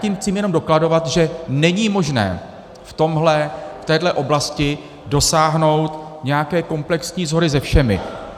Tím chci jenom dokladovat, že není možné v téhle oblasti dosáhnout nějaké komplexní shody se všemi.